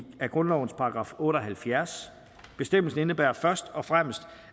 grundlovens § otte og halvfjerds bestemmelsen indebærer først og fremmest